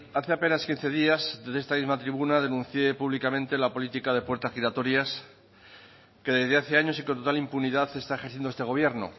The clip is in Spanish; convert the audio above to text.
hace apenas quince días desde esta misma tribuna denuncié públicamente la política de puertas giratorias que desde hace años y con total impunidad está ejerciendo este gobierno